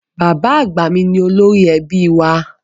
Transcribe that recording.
Bàbá àgbà mi ni olórí ẹbí ilé wa